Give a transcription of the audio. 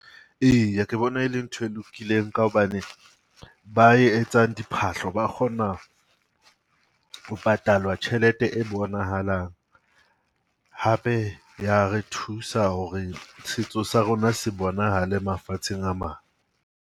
Eya ke bona e le ntho e lokileng ka hobane ba etsang diphahlo ba kgona ho patalwa tjhelete e bonahalang. Hape ya re thusa hore setso sa rona se bonahale mafatsheng a mang.